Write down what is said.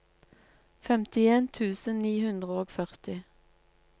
femtien tusen ni hundre og førti